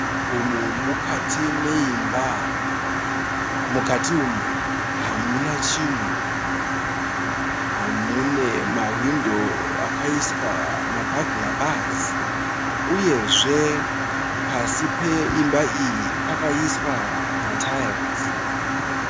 Umu mukati meimba. Mukati umu hamuna chinhu. Mune mahwindo akaiswa ma(bugler bars) uyezve pasi peimba iyi pakaiswa ma(tiles)